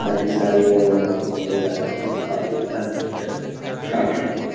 ताकि साडी मतलब गाड़िया इस जस्ट साफ कर देता है।